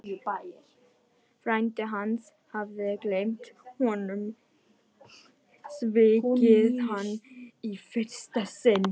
Frændi hans hafði gleymt honum, svikið hann í fyrsta sinn.